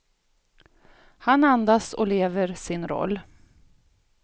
Han andas och lever sin roll.